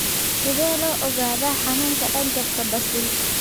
Sidee loo ogaadaa xanuunka dhanjafka basil?